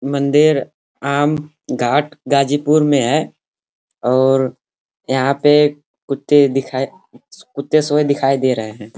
मंदिर आम घाट गाजीपुर में है और यहाँ पे कुत्ते दिखाई- कुत्ते सोये दिखाई दे रहे हैं।